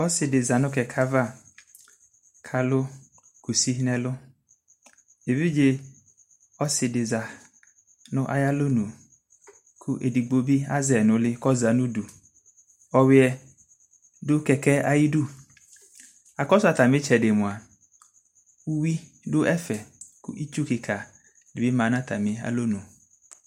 ɔsiidi zanʋkɛkɛ aɣa kʋ alʋkʋsi nʋ ɛlʋ, ɛvidzɛ ɔsii di zanʋ ayi alɔnʋ kʋɛdigbɔ bi azɛi nʋ ili kʋ ɔza nʋ ʋdʋ,ɔwiɛ dʋ kɛkɛ ayidʋ, akɔsʋatami itsɛdi mʋa ɛwidʋ ɛƒɛ kʋ itsʋ kikaa dibi dʋalɔnʋ